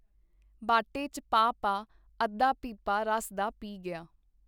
ਬਾਟੇ ਚ ਪਾ ਪਾ ਅੱਧਾ ਪੀਪਾ ਰਸ ਦਾ ਪੀ ਗਿਆ.